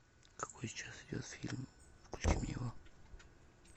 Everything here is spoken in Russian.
какой сейчас идет фильм включи мне его